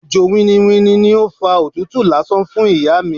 Òjò winniwinni ni ó fa òtútù lásán fún ìyá mi.